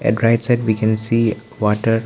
At right side we can see water.